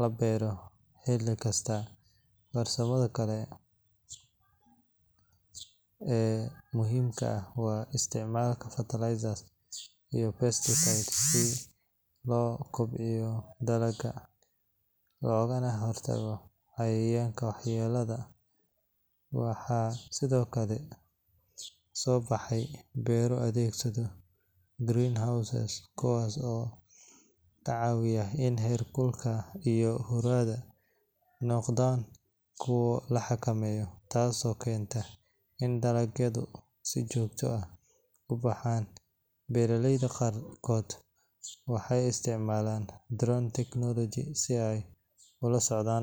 la beero xilli kasta. Farsamada kale ee muhiimka ah waa isticmaalka fertilizers iyo pesticides si loo kobciyo dalagga loogana hortago cayayaanka waxyeelaya. Waxaa sidoo kale soo baxay beero adeegsada greenhouses, kuwaas oo ka caawiya in heerkulka iyo huuradu noqdaan kuwo la xakameeyo, taasoo keenta in dalagyadu si joogto ah u baxaan. Beeraleyda qaarkood waxay isticmaalaan drone technology si ay ula socdaan.